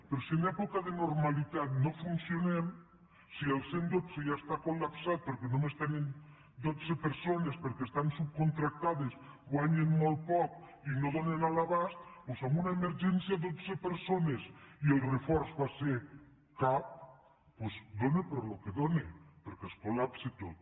però si en època de normalitat no funcionem si el cent i dotze ja està col·lapsat perquè només tenen dotze persones perquè estan subcontractades guanyen molt poc i no donen a l’abast doncs en una emergència dotze persones i el reforç va ser cap doncs dóna per al que dóna perquè es col·lapsa tot